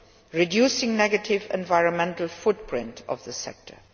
and reducing the negative environmental footprint of the sector.